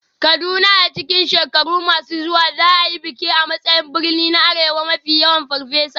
Kuduan a cikin shekaru masu zuwa za a yi bikin a matsayin birni na arewa mafi yawan Farfesa.